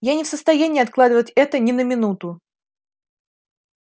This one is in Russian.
я не в состоянии откладывать это ни на минуту